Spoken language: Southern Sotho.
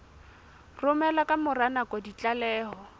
romela ka mora nako ditlaleho